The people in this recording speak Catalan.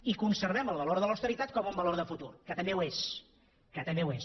i conservem el valor de l’austeritat com un valor de futur que també ho és que també ho és